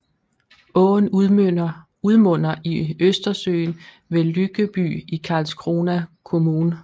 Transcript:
Åen udmunder i Østersøen ved Lyckeby i Karlskrona kommun